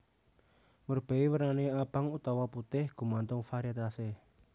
Murbei wernané abang utawa putih gumantung variétase